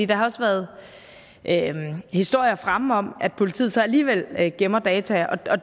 der har også været historier fremme om at politiet så alligevel gemmer data og